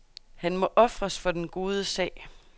Han må ofres for den gode sag.